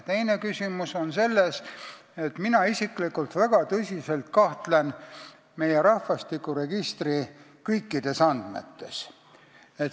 Teine küsimus on selles, et mina isiklikult kahtlen väga tõsiselt meie rahvastikuregistri kõikides andmetes.